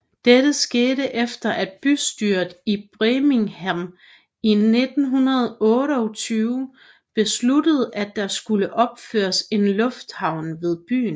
Dette skete efter at bystyret i Birmingham i 1928 besluttede at der skulle opføres en lufthavn ved byen